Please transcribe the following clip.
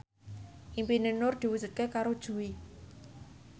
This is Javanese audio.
impine Nur diwujudke karo Jui